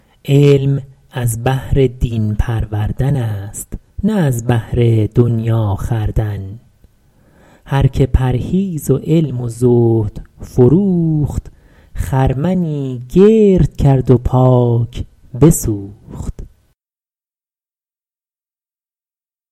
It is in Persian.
علم از بهر دین پروردن است نه از بهر دنیا خوردن هر که پرهیز و علم و زهد فروخت خرمنی گرد کرد و پاک بسوخت